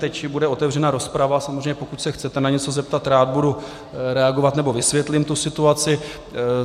Teď bude otevřena rozprava, samozřejmě, pokud se chcete na něco zeptat, rád budu reagovat nebo vysvětlím tu situaci.